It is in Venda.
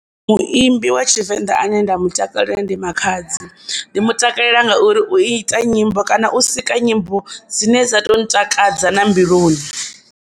Muimbi wa Tshivenḓa ane nda mu takalela ndi Makhadzi ndi mu takalela ngauri u ita nyimbo kana u sika nyimbo dzine dza to ntakadza na mbiluni.